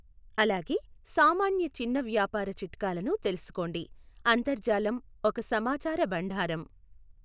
అలాగే, సామాన్య చిన్న వ్యాపార చిట్కాలను తెలుసుకోండి, అంతర్జాలం ఒక సమాచార భండారం.